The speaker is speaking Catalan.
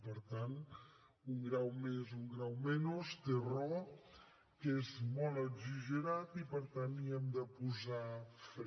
per tant un grau més un grau menys té raó que és molt exagerat i per tant hi hem de posar fre